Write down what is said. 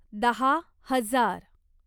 दहा हजार